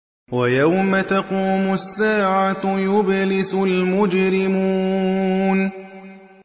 وَيَوْمَ تَقُومُ السَّاعَةُ يُبْلِسُ الْمُجْرِمُونَ